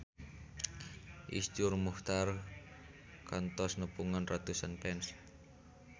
Iszur Muchtar kantos nepungan ratusan fans